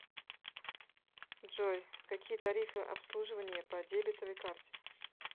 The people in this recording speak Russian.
джой какие тарифы обслуживание по дебетовой карте